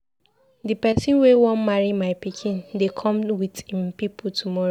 The person wey wan marry my pikin dey come with im people tomorrow.